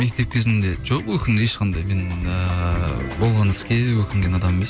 мектеп кезімде жоқ ешқандай мен ыыы болған іске өкінген адам